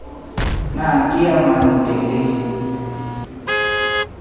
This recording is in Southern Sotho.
na ke ya mannte le